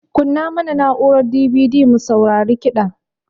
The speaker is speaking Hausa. Kunna mana na'urar DVD mu saurari kida